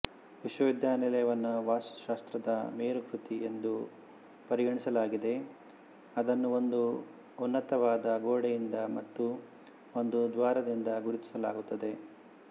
ವಿಶ್ವವಿದ್ಯಾಲಯವನ್ನು ವಾಸ್ತುಶಾಸ್ತ್ರದ ಮೇರುಕೃತಿ ಎಂದು ಪರಿಗಣಿಸಲಾಗಿದೆ ಅದನ್ನು ಒಂದು ಉನ್ನತವಾದ ಗೋಡೆಯಿಂದ ಮತ್ತು ಒಂದು ದ್ವಾರದಿಂದ ಗುರುತಿಸಲಾಗುತ್ತದೆ